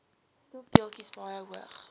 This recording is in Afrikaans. stofdeeltjies baie hoog